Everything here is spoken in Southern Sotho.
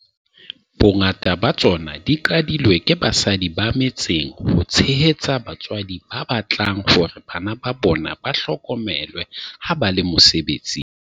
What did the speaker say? Bongata ba tsona di qadilwe ke basadi ba me tseng ho tshehetsa batswadi ba batlang hore bana ba bona ba hlokomelwe ha ba le mose betsing.